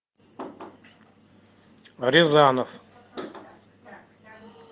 рязанов